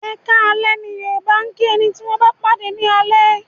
Ẹ̀kaalẹ́ ni Yoruba máa ń kí ẹni tí wọn bá pàdé ni alẹ́